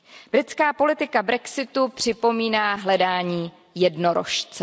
Britská politika brexitu připomíná hledání jednorožce.